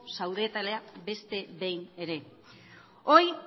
zaudetela beste behin ere